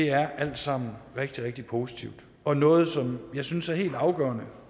er alt sammen rigtig rigtig positivt og noget som jeg synes er helt afgørende